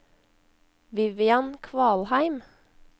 Vivian Kvalheim